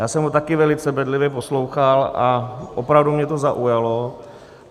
Já jsem ho také velice bedlivě poslouchal a opravdu mě to zaujalo.